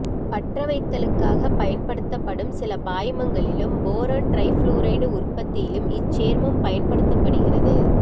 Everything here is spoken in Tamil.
பற்றவைத்தலுக்காகப் பயன்படுத்தப்படும் சில பாய்மங்களிலும் போரான் டிரைபுளோரைடு உற்பத்தியிலும் இச்சேர்மம் பயன்படுத்தப்படுகிறது